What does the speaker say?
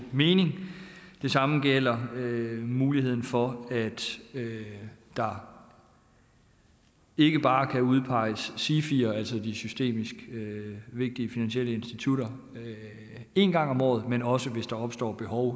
mening det samme gælder muligheden for at der ikke bare kan udpeges sifier altså systemisk vigtige finansielle institutter én gang om året men også hvis der opstår behov